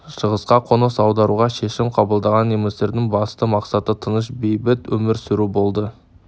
шығысқа қоныс аударуға шешім қабылдаған немістердің басты мақсаты тыныш бейбіт өмір сүру болды